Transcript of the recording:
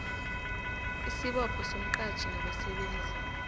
isibopho somqatjhi nabasebenzi